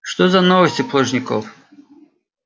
что за новости плужников